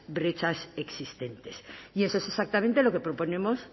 brechas existentes y eso es exactamente lo que proponemos